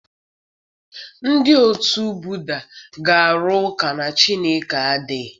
Ndị otu Buda ga-arụ ụka na Chineke adịghị.